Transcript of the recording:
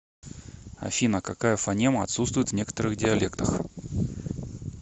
афина какая фонема отсутствует в некоторых диалектах